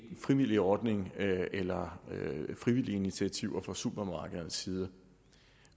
en frivillig ordning eller frivillige initiativer fra supermarkedernes side